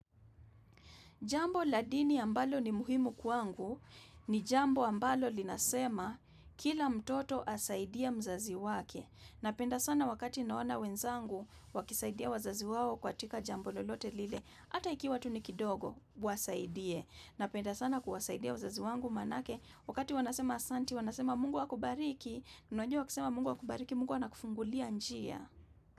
Jambo la dini ambalo ni muhimu kwangu ni jambo ambalo linasema kila mtoto asaidie mzazi wake. Napenda sana wakati naona wenzangu wakisaidia wazazi wao katika jambo lolote lile. Hata ikiwa tu ni kidogo wasaidie. Napenda sana kuwasaidia wazazi wangu maanake wakati wanasema asante wanasema mungu akubariki. Unajua wakisema mungu akubariki mungu anakufungulia njia.